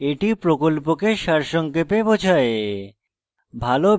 এটি প্রকল্পকে সারসংক্ষেপে বোঝায়